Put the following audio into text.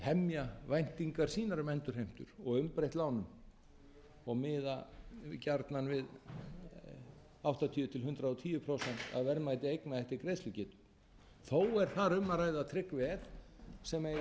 hemja væntingar sínar um endurheimtur og umbreytt lánum og miða gjarnan við áttatíu til hundrað og tíu prósent af verðmæti eigna eftir greiðslugetu þó er þar um að ræða trygg veð sem eiga að